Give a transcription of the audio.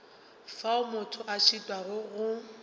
fao motho a šitwago go